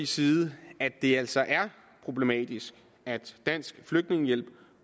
side at det altså er problematisk at dansk flygtningehjælp